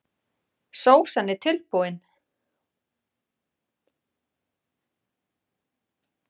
Sósan er tilbúin.